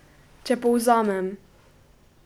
Če povzamem.